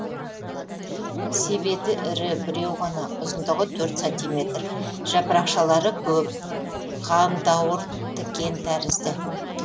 себеті ірі біреу ғана ұзындығы төрт сантиметр жапырақшалары көп қандауыртікен тәрізді